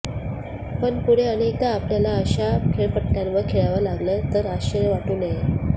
पण पुढे अनेकदा आपल्याला अशा खेळपट्ट्यांंवर खेळावं लागलं तर आश्चर्य वाटू नये